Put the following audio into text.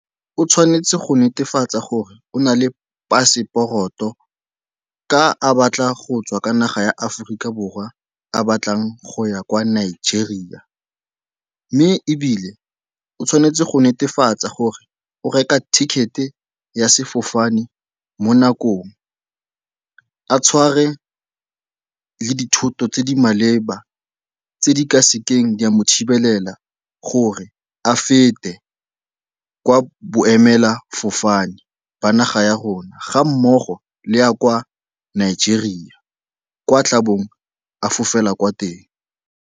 O tshwanetse go netefatsa gore o na le paseporoto ka a batla go tswa ka naga ya Aforika Borwa a batlang go ya kwa Nigeria. Mme ebile o tshwanetse go netefatsa gore o reka ticket-e ya sefofane mo nakong, a tshware le dithoto tse di maleba tse di ka sekeng tsa mo thibela gore a fete kwa boemelafofane jwa naga ya rona ga mmogo le ya kwa Nigeria, kwa a tlabong a fofela kwa teng.